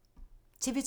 TV 2